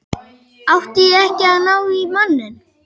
Átti ég ekki að ná í manninn?